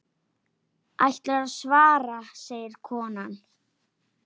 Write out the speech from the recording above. Ætlarðu að svara, segir konan.